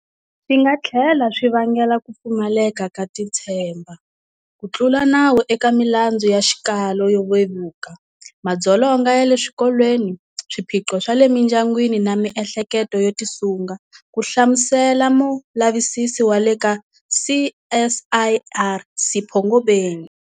Swi nga tlhela swi vangela ku pfumaleka ka titshemba, ku tlula nawu eka milandzu ya xikalo xo vevuka, madzolonga ya le swikolweni, swiphiqo swa le mindyangwini na miehleketo yo tisunga, ku hlamu sela mulavisisinkulu wa le ka CSIR Sipho Ngobeni.